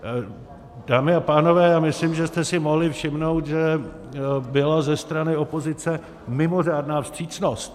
Dámy a pánové, já myslím, že jste si mohli všimnout, že byla ze strany opozice mimořádná vstřícnost.